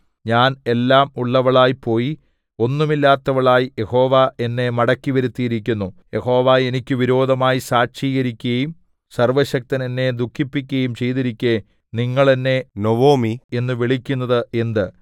ഞാൻ എല്ലാം ഉള്ളവളായി പോയി ഒന്നുമില്ലാത്തവളായി യഹോവ എന്നെ മടക്കി വരുത്തിയിരിക്കുന്നു യഹോവ എനിക്ക് വിരോധമായി സാക്ഷീകരിക്കയും സർവ്വശക്തൻ എന്നെ ദുഃഖിപ്പിക്കയും ചെയ്തിരിക്കെ നിങ്ങൾ എന്നെ നൊവൊമി എന്നു വിളിക്കുന്നത് എന്ത്